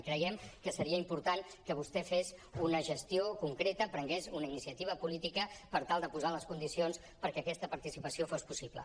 i creiem que seria important que vostè fes una gestió concreta prengués una iniciativa política per tal de posar les condicions perquè aquesta participació fos possible